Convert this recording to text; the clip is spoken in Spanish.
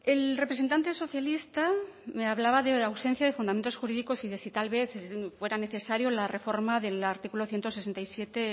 el representante socialista me hablaba de ausencia de fundamentos jurídicos y de si tal vez fuera necesario la reforma del artículo ciento sesenta y siete